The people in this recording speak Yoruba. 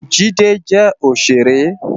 Jide jè óṣéré